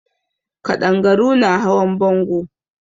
Ƙadangaru na hawan bango.